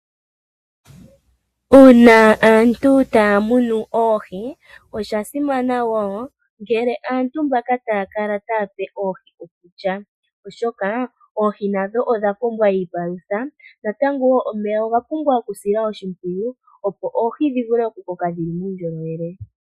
Uuna aantu taya munu oohi. Osha simana wo ngele aantu mbaka taya kala taya pe oohi okulya oshoka oohi odha pumbwa iipalutha .Omeya oga pumbwa okusilwa oshimpwiyu opo dhi koke dhina uundjolowele.